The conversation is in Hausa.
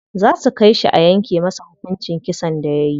Za su kai shi a yanke masa hukuncin kisan da yayi.